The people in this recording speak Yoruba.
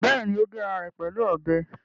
Bẹ́ẹ̀ni, ó gé ara ẹ̀ pẹ̀lú ọbẹ̀